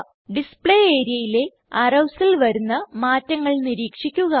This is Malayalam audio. ഡിസ്പ്ലേ areaയിലെ arrowsൽ വരുന്ന മാറ്റങ്ങൾ നിരീക്ഷിക്കുക